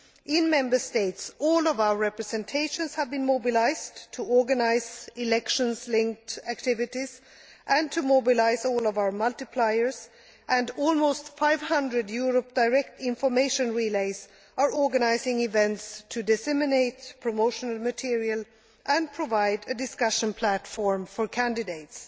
In Member States, all of our representations have been mobilised to organised elections linked activities and to mobilise all of our multipliers, and almost 500 Europe Direct information relays are organising events to disseminate promotional material and provide a discussion platform for candidates.